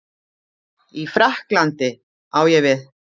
í Frakklandi, á ég við?